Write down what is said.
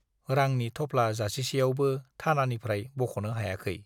रांनि थफ्ला जासिसेयावबो थानानिफ्राय बख'नो हायाखै।